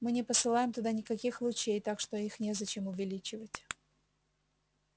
мы не посылаем туда никаких лучей так что их незачем увеличивать